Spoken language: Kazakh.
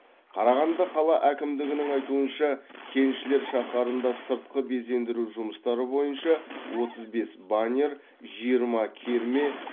қарағанды қала әкімдігінің айтуынша кеншілер шаһарында сыртқы безендіру жұмыстары бойынша отыз бес баннер жиырма керме